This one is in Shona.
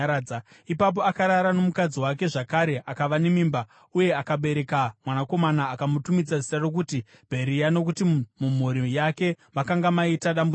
Ipapo akarara nomukadzi wake zvakare akava nemimba uye akabereka mwanakomana. Akamutumidza zita rokuti Bheria nokuti mumhuri yake makanga maita dambudziko.